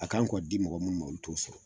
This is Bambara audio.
A k'an kɔ di mɔgɔ minnu ma olu t'o sɔrɔ